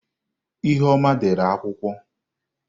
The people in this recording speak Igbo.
ihuoma dere akwukwo.